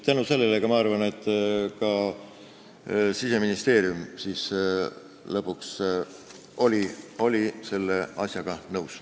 Tänu sellele, ma arvan, oli ka Siseministeerium lõpuks selle asjaga nõus.